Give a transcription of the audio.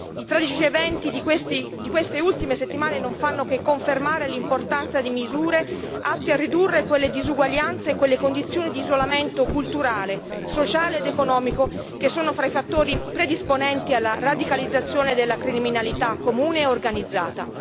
I tragici eventi di queste ultime settimane non fanno che confermare l'importanza di misure atte a ridurre quelle disuguaglianze e quelle condizioni di isolamento culturale, sociale ed economico che sono fra i fattori predisponenti alla radicalizzazione della criminalità comune e organizzata.